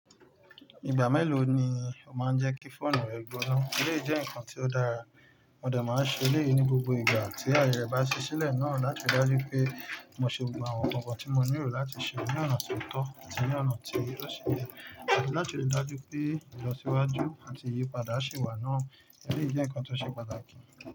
Ìgbà mélòó ni o máa ń jẹ́ kí fóònù rẹ gbóná? Éléyi jẹ́ ǹkan ti o dára, mo dẹ̀ máa ń ṣe éléyo ní gbogbo ìgbà tí ayẹre bá ṣí sílẹ̀ náà láti ríi dájú pé mo ṣe gbogbo àwọn ǹkankan tí mo nílò láti ṣe ní ọ̀nà tó tọ́ àti ní ọ̀nà tí yóò ṣì jẹ́, àti láti ríi dájú pé ìlọsíwájú àti ìyípadà ṣe wà náà. Élé jẹ́ ǹkan tó ṣe pàtàkì.